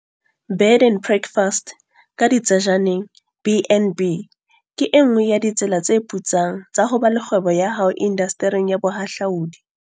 Bed and breakfast, BnB, ke e nngwe ya ditsela tse putsang tsa ho ba le kgwebo ya hao indastering ya bohahlaudi.